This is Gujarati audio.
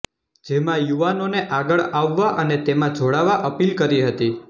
જેમાં યુવાનોને આગળ આવવા અને તેમાં જોડાવા અપીલ કરી હતી